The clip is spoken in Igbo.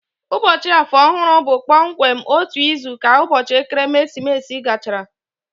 Ụbọchị Afọ Ọhụrụ bụ kpọmkwem otu izu ka ụbọchị ekeresimesi gachara